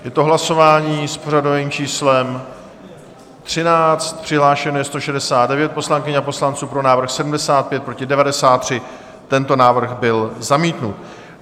Je to hlasování s pořadovým číslem 13, přihlášeno je 169 poslankyň a poslanců, pro návrh 75, proti 93, tento návrh byl zamítnut.